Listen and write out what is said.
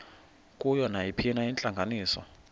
kuyo nayiphina intlanganiso